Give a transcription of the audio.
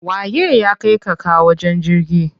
Waye ya kaika ka wajen jirgin?